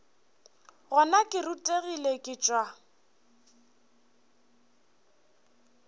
gona ke rutegile ke tšwa